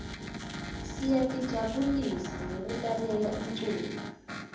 siyatijabulisa ngekulalela umculo